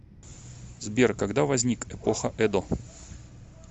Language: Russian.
сбер когда возник эпоха эдо